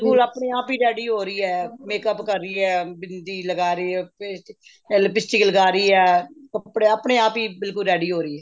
ਬਿਲਕੁਲ ਆਪਣੇਂ ਆਪ ਹੀ ready ਹੋ ਰਹੀ ਏ makeup ਕਰ ਰਹੀ ਏ ਬਿੰਦੀ ਲਗਾ ਰਹੀ ਏ lipstick ਲਗਾ ਰਹੀ ਏ ਕੱਪੜੇ ਆਪਣੇ ਆਪ ਹੀ ਬਿਲਕੁਲ ready ਹੋ ਰਹੀ ਏ